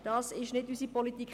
Das ist nicht unsere Politik.